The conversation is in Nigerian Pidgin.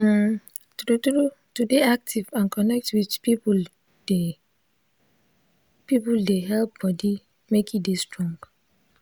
umm true true to dey active and connect with people dey people dey help body make e dey strong